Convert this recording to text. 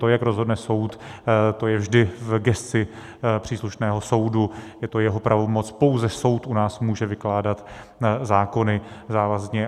To, jak rozhodne soud, to je vždy v gesci příslušného soudu, je to jeho pravomoc, pouze soud u nás může vykládat zákony závazně.